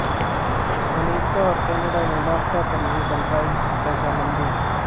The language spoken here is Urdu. امریکہ اور کینیڈا میں نافٹا پر نہیں بن پائی رضامندی